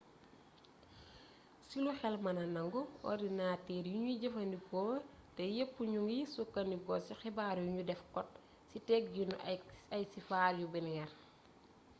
ci lu xel mëna nangu orndinatëër yuñuy jëfandikoo tey yépp ñu ngi sukkandiku ci xibaar yuñu def kot ci tëggiinu ay siifar yu binaire